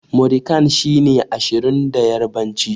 Muri kan' shine Ashirin da yarbanci.